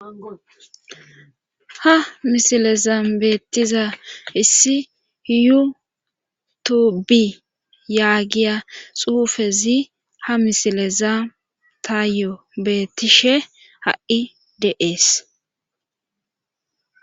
ha misilezam beettiza issi iyutubi yaagiya xuufezi ha misileza taayo bettishe ha7i deees